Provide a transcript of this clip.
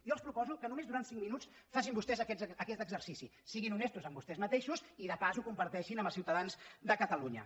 jo els proposo que només durant cinc minuts facin vostès aquest exercici siguin honestos amb vostès mateixos i de pas ho comparteixin amb els ciutadans de catalunya